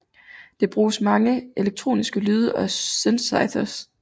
Det bruges mange elektroniske lyde og synthesizere